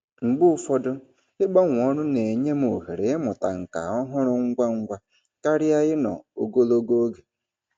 Mgbe ụfọdụ, ịgbanwe ọrụ na-enye m ohere ịmụta nkà ọhụrụ ngwa ngwa karịa ịnọ ogologo oge.